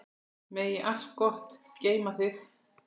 Megi allt gott geyma þig.